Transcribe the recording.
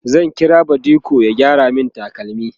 zan kira badiko ya gyara min takalmi